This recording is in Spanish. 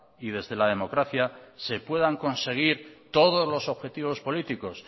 y desde la democracia se puedan conseguir todos los objetivos políticos